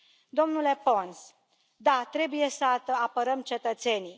Domnule Pons da, trebuie să apărăm cetățenii.